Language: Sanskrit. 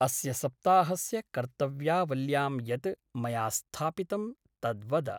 अस्य सप्ताहस्य कर्तव्यावल्यां यत् मया स्थापितं तद् वद।